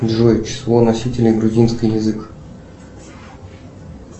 джой число носителей грузинский язык